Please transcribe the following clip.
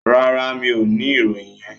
No, I don't have that information.